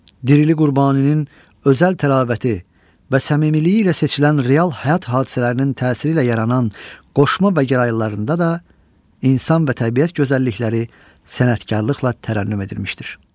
Dirili Qurbaninin özəl təravəti və səmimiliyi ilə seçilən real həyat hadisələrinin təsiri ilə yaranan qoşma və gəraylılarında da insan və təbiət gözəllikləri sənətkarlıqla tərənnüm edilmişdir.